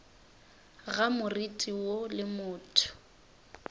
ga moriti woo le motho